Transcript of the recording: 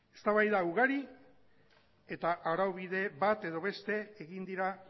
eztabaida ugari eta araubide bat ala beste egin dira